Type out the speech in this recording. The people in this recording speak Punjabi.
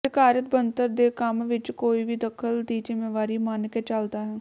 ਅਧਿਕਾਰਤ ਬਣਤਰ ਦੇ ਕੰਮ ਵਿੱਚ ਕੋਈ ਵੀ ਦਖਲ ਦੀ ਜ਼ਿੰਮੇਵਾਰੀ ਮੰਨ ਕੇ ਚੱਲਦਾ ਹੈ